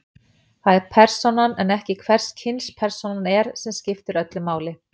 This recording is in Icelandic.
Það er persónan en ekki hvers kyns persónan er sem skiptir öllu máli.